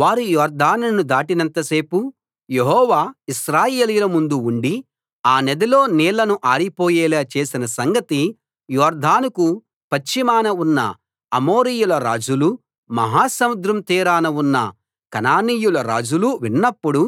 వారు యొర్దానును దాటినంతసేపూ యెహోవా ఇశ్రాయేలీయుల ముందు ఉండి ఆ నదిలో నీళ్లను ఆరిపోయేలా చేసిన సంగతి యొర్దానుకు పశ్చిమాన ఉన్న అమోరీయుల రాజులూ మహాసముద్రం తీరాన ఉన్న కనానీయుల రాజులూ విన్నప్పుడు